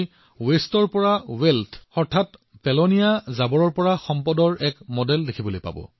এই সৰু পঞ্চায়তে কি কৰিছে চাওক ইয়াত আপুনি আৱৰ্জনাৰ পৰা সম্পদৰ আন এটা আৰ্হি পাব